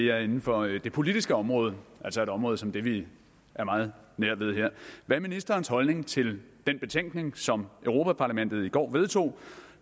er inden for det politiske område altså et område som det vi er meget nær ved her hvad er ministerens holdning til den betænkning som europa parlamentet i går vedtog